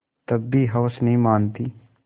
तब भी हवस नहीं मानती